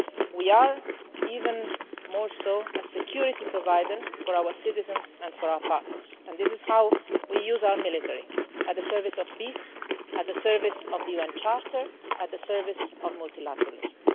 We are even more so a security provider for our citizens and for our partners and this is how we use our military in the service of peace, in the service of the UN Charter, and in the service of multilateralism.